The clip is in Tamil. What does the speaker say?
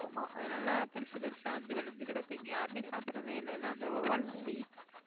ஆமாம் அதனால பெருசு பெருசா வந்து விளைஞ்சு கிடக்கு இங்க யாருமே சாப்பிடுறதே இல்லைன்னா அந்த வௌவால் குட்டி